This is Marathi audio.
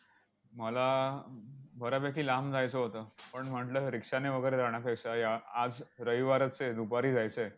मला अं बऱ्यापैकी लांब जायचं होतं. पण म्हटलं, rikshaw ने वगैरे जाण्यापेक्षा या आज रविवारच आहे. दुपारी जायचं आहे.